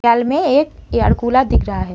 घर में एक एयर कूलर दिख रहा है।